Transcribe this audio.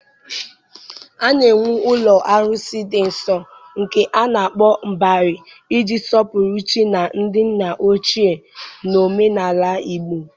A na-ewu ụlọ arụsị dị nsọ, nke a na-akpọ Mbari, iji sọpụrụ chi na ndị nna ochie na omenala Igbo.